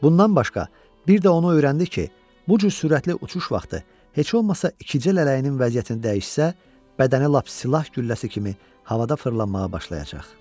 Bundan başqa bir də onu öyrəndi ki, bu cür sürətli uçuş vaxtı heç olmasa ikicə lələyinin vəziyyətini dəyişsə, bədəni lap silah gülləsi kimi havada fırlanmağa başlayacaq.